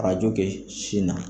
Arajo kɛ sin na.